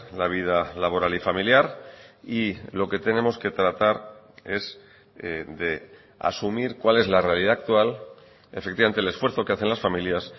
la vida laboral y familiar y lo que tenemos que tratar es de asumir cuál es la realidad actual efectivamente el esfuerzo que hacen las familias